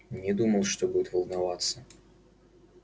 не думал что будет волноваться